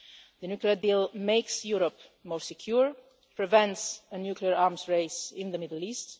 The nuclear deal makes Europe more secure and prevents a nuclear arms race in the Middle